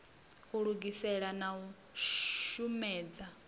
u lugisela na u shomedza